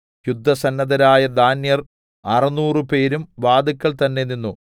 യുദ്ധസന്നദ്ധരായ ദാന്യർ അറുനൂറുപേരും വാതില്ക്കൽ തന്നെ നിന്നു